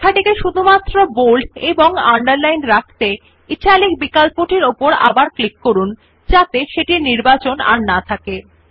lশিরোনাম টিকে বোল্ড এবং আন্ডারলাইন রাখতে ইটালিক বিকল্পটির উপর আবার ক্লিক করুন যাতে সেটির নির্বাচন না থাকে